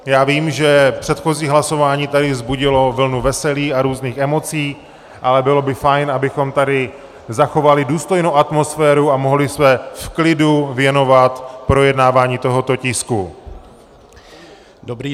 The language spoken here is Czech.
Já vím, že předchozí hlasování tady vzbudilo vlnu veselí a různých emocí, ale bylo by fajn, abychom tady zachovali důstojnou atmosféru a mohli se v klidu věnovat projednávání tohoto tisku.